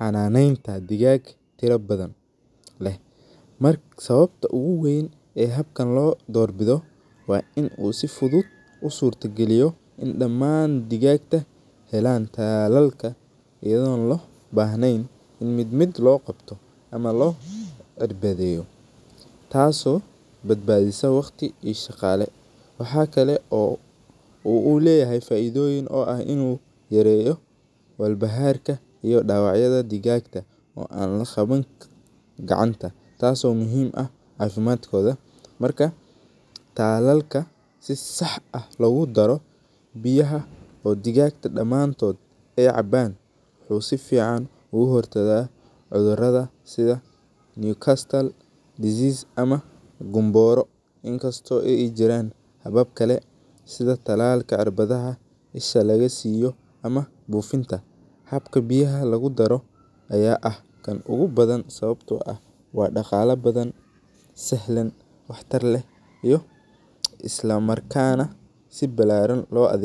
xananenta digag fara badan leh, sawabta weyn oo habka lo dor bido digaga in mid mid lo qabto ona lo cirbadeyo, tas oo badbadiso waqti iyo shaqale, tasi oo leyahay in u yareyo walbaharka digaga an laqawan karin, inkasto ee jiran habab kale cirbadaha mise laga sameye ama bufinta, habka biyaha lagu daro aya ah miid waa daqala badan wax tar leh iyo isla markana si balaran lo adhegsado.